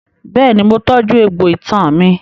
Bẹ́ẹ̀ni, mo tọ́jú egbò itan mi.